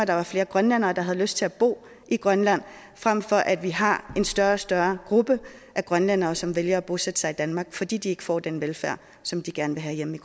der var flere grønlændere der havde lyst til at bo i grønland frem for at vi har en større og større gruppe grønlændere som vælger at bosætte sig i danmark fordi de ikke får den velfærd som de gerne vil have hjemme